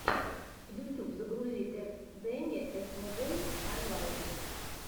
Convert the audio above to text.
ютьюб загрузи кэтдэни эсмонголд хайлайтс